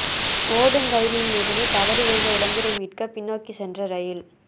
ஓடும் ரயிலில் இருந்து தவறி விழுந்த இளைஞரை மீட்க பின்னோக்கி சென்ற ரயில்